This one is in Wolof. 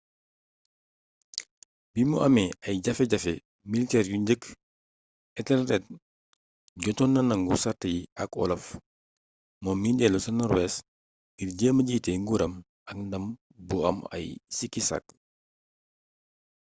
bimu amee ay jafe-jafe militeer yu njëkk ethelred jotoon na nangu sàrt yi ak olaf moom mii dellu ca norwees ngir jéema jiitee nguuram ak ndam bu am ay sikki-sakka